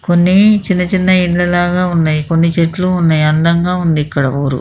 కొన్ని చిన్న చిన్న ఇల్లు లాగా ఉన్నాయి కొన్ని చెట్లు ఉనాయి అందంగా ఉంది ఇక్కడ ఊరు.